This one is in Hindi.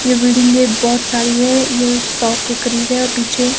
ये बिल्डिंगे बहुत सारी है जो सौ के करीब है और पीछे--